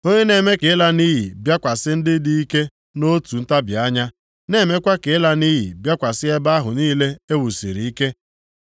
Onye na-eme ka ịla nʼiyi bịakwasị ndị dị ike nʼotu ntabi anya, na-emekwa ka ịla nʼiyi bịakwasị ebe ahụ niile e wusiri ike.